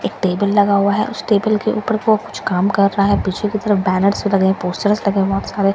एक टेबल लगा हुआ है उस टेबल के ऊपर वो कुछ काम कर रहा है पीछे की तरफ बैनर्स लगे हैं पोस्टर्स लगे हैं बहुत सारे --